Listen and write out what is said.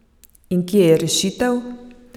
In kje je rešitev?